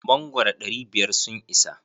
Mangoro ɗari biyar sun isa?